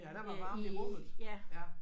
Ja der var varmt i rummet ja